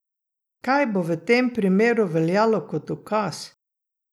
Kaj bo v tem primeru veljalo kot dokaz?